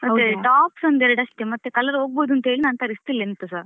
ಮತ್ತೆ tops ಒಂದ್ ಎರಡಷ್ಟೇ ಮತ್ತೆ colour ಹೋಗಬಹುದು ಅಂತೇಳಿ ತರಿಸ್ಲಿಲ್ಲ ಎಂತಸಾ .